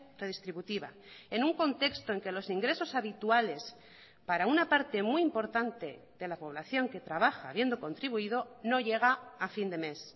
redistributiva en un contexto en que los ingresos habituales para una parte muy importante de la población que trabaja habiendo contribuido no llega a fin de mes